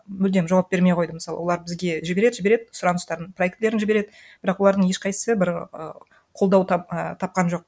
мүлдем жауап бермей қойды мысалы олар бізге жібереді жібереді сұраныстарын проектілерін жібереді бірақ олардың ешқайсы бір і қолдау ы тапқан жоқ